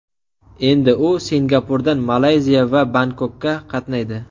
Endi u Singapurdan Malayziya va Bangkokka qatnaydi.